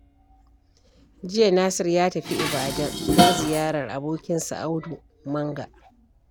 Jiya Nasir ya tafi Ibadan don ziyarar abokinsa Audu Manga